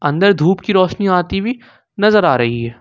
अंदर धूप की रोशनी आती हुई नजर आ रही है।